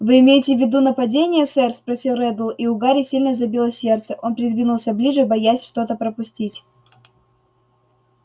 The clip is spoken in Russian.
вы имеете в виду нападения сэр спросил реддл и у гарри сильно забилось сердце он придвинулся ближе боясь что-то пропустить